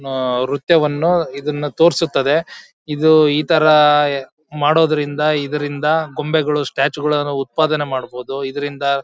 ಅಹ್ ನೃತ್ಯ ವನ್ನು ಇದನ್ನ ತೋರಿಸುತ್ತದೆ ಇದು ಇತರ ಮಾಡೋದ್ರಿಂದ ಇದರಿಂದ ಗೊಂಬೆಗಳು ಸ್ಟ್ಯಾಚು ಗಳನ್ನ ಉತ್ಪಾದನೆ ಮಾಡಬೋದು ಇದರಿಂದ--